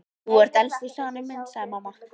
Þú ert elstur Stjáni minn sagði mamma.